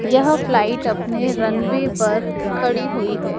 यह फ्लाइट अपने runway पर खड़ी हुई है।